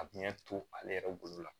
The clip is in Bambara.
A bi ɲɛ to ale yɛrɛ bolo la